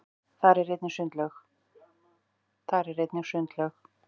þar er einnig sundlaug